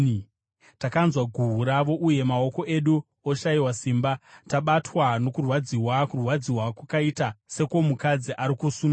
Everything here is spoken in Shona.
Takanzwa guhu ravo, uye maoko edu oshayiwa simba. Tabatwa nokurwadziwa, kurwadziwa kwakaita sekwomukadzi ari kusununguka.